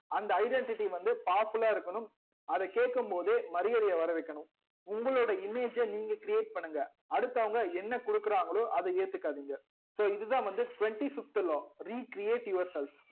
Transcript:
அந்த identity வந்து powerful லா இருக்கணும் அதா கேக்கும் போதே மரியாதை வரவைக்கணும் உங்களோட image நீங்க create பண்ணுங்க அடுத்தவங்க என்ன குடுக்குறாங்களோ அதா ஏத்துகாதிங்க so இதுதா வந்து twenty fifth law recreate yourself